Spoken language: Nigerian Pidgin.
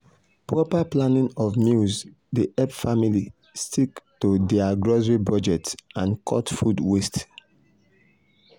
proper planning of meals dey help families stick to dir grocery budget and cut food waste.